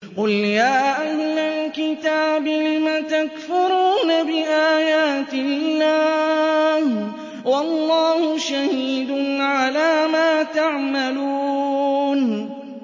قُلْ يَا أَهْلَ الْكِتَابِ لِمَ تَكْفُرُونَ بِآيَاتِ اللَّهِ وَاللَّهُ شَهِيدٌ عَلَىٰ مَا تَعْمَلُونَ